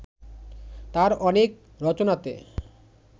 তাঁর অনেক রচনাতে